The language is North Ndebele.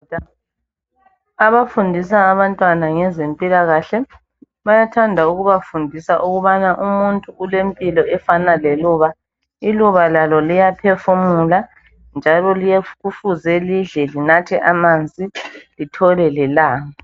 abafundisa abantwana ngezempilakahle bayathanda ukubafundisa ukubana umuntu ulempilo efana leluba iluba lalo liyaphefumula njalo kufuze lidle linathe amanzi lithole lelanga